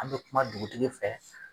An be kuma dugutigi fɛ